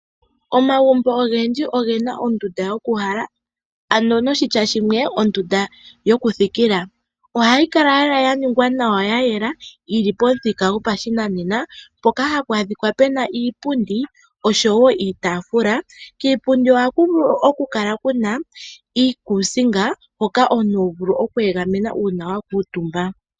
Omagumbo ogendji oge na ondunda yokuuhala ano noshitya shimwe ondunda yokuthikila. Ohayi kala lela ya ningwa nawa ya yela yi li pomuthika goshinanena, mpoka hapu adhika pu na iipundi oshowo iitaafula. Kiipundi ohaku vulu okukala ku na iikuusinga hoka omuntu ho vulu oku egamena uuna wa kuutumba.